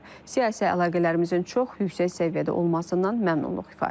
Siyasi əlaqələrimizin çox yüksək səviyyədə olmasından məmnunluq ifadə edilib.